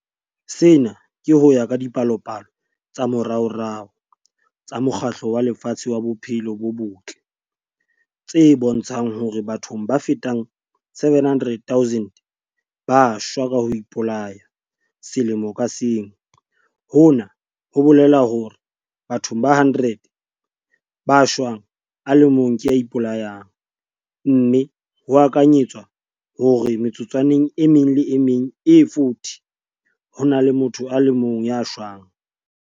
Sena ke ho ya ka dipalopalo tsa moraorao tsa Mokgatlo wa Lefatshe wa Bophelo bo Botle, WHO, tse bontshang hore batho ba fetang 700 000 ba shwa ka ho ipolaya selemo ka seng - hona ho bolela hore bathong ba 100 ba shwang a le mong ke ya ipolayang, mme ho akanyetswa hore metsotswaneng e meng le e meng e 40 ho na le motho a le mong ya shwang.